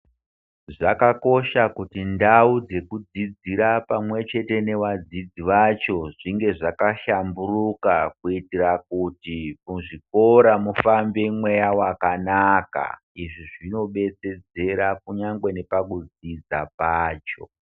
Zvakakosha kuti ndau ndekudzidzira pamwe chete newadzidzi vacho zvinge zvakashamburuka kuitira kuti muzvikora mufambe mweya wakanaka izvi zvinobetsedzera kunyangwe nepakudzidza pacho